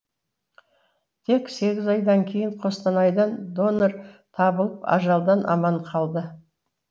тек егіз айдан кейін қостанайдан донор табылып ажалдан аман қалды